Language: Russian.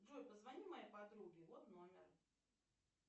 джой позвони моей подруге вот номер